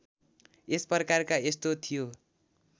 यसप्रकारका यस्तो थियो